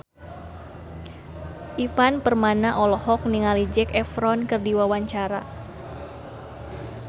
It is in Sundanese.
Ivan Permana olohok ningali Zac Efron keur diwawancara